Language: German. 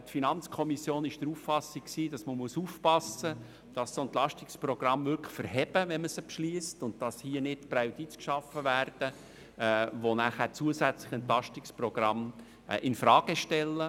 Die FiKo war der Auffassung, man müsse aufpassen, dass solche Entlastungsprogramme, wenn man sie beschliesst, tatsächlich standhalten, und es solle kein Präjudiz geschaffen werden, welches zusätzlich Entlastungsprogramme infrage stelle.